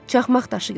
Çaxmaq daşı götür.